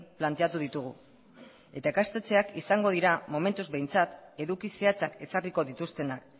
planteatu ditugu eta ikastetxeak izango dira momentuz behintzat eduki zehatzak ezarriko dituztenak